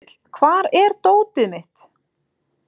Fífill, hvar er dótið mitt?